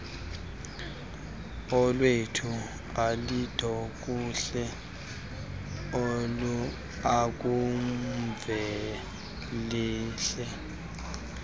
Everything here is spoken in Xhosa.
olwethu ulindokuhle ukamvelihle